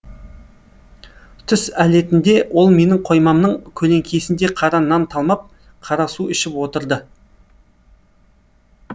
түс әлетінде ол менің қоймамның көлеңкесінде қара нан талмап қара су ішіп отырды